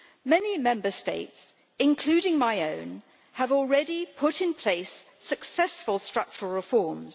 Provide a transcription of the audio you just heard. Many Member States, including my own, have already put in place successful structural reforms.